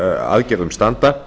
aðgerðum standa